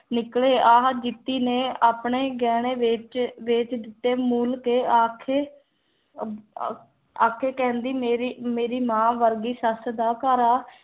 ਨਿਕਲੇ ਆਹਾ ਗੀਤੀ ਨੇ ਆਪਣੇ ਗਹਿਣੇ ਵੇਚ ਕੇ ਵੇਚ ਦਿੱਤੇ ਮੂਲ ਕੇ ਆਖੇ ਆਖੇ ਕਹਿੰਦੀ ਮੇਰੀ ਮੇਰੀ ਮਾਂ ਵਰਗੀ ਸੱਸ ਦਾ ਘਰ ਆ